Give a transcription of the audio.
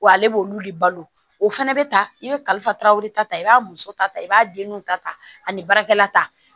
Wa ale b'olu de balo o fɛnɛ bɛ ta i bɛ kalifa taraweleta i b'a muso ta i b'a denninw ta ta ani baarakɛla ta